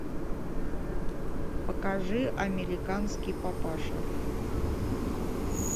покажи американский папаша